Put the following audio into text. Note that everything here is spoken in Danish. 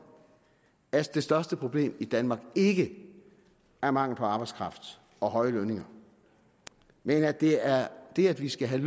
at det største problem i danmark ikke er mangel på arbejdskraft og høje lønninger men at det er det at vi skal have